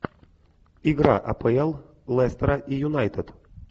игра апл лестера и юнайтед